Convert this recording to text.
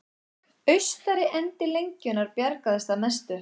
Austari endi lengjunnar bjargaðist að mestu